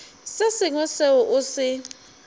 se sengwe seo o se